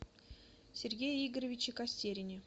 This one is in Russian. сергее игоревиче костерине